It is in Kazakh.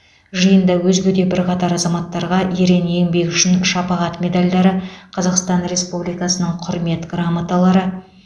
жиында өзге де бірқатар азаматтарға ерен еңбегі үшін шапағат медальдарі қазақстан республикасының қүрмет грамоталары